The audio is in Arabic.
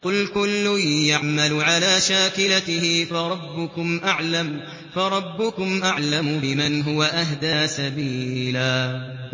قُلْ كُلٌّ يَعْمَلُ عَلَىٰ شَاكِلَتِهِ فَرَبُّكُمْ أَعْلَمُ بِمَنْ هُوَ أَهْدَىٰ سَبِيلًا